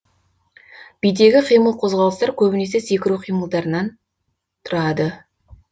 бидегі қимыл қозғалыстар көбінесе секіру қимылдарыннан тұрады